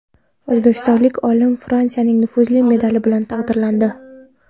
O‘zbekistonlik olim Fransiyaning nufuzli medali bilan taqdirlandi .